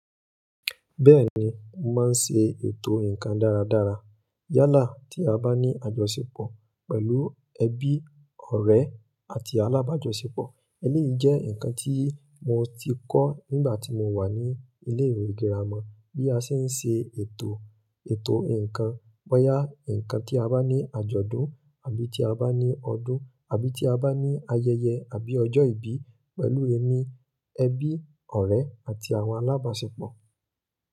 Bẹ́ẹ̀ni, mo máa ń ṣe ètò nǹkan dáradára. Yálà tí a bá ní àjọṣepọ̀ pẹ̀lú ẹbí, ọ̀rẹ́ àti alábàáṣepọ̀. Eléyìí jẹ́ nǹkan tí mo ti kọ́ nígbà tí mo wà ní ilé ìwé girama. Bí a ṣe ń ṣe ètò, ètò nǹkan. Bo yá nǹkan tí a bá ní àjọ̀dún àbí tí a bá ní ọdún àbí tí a bá ní ayẹyẹ àbí ọjọ́ ìbí pẹ̀lú ẹmi, ẹbí, ọ̀rẹ́ àti àwọn alábàáṣepọ̀.